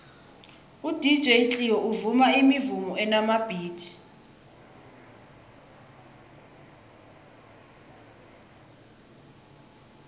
udj cleo uvuma imivumo enamabhithi